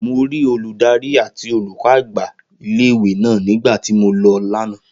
Mo rí olùdarí àti olùkọ́ àgbà ilé ìwé náà nígbà tí mo lọ lánàá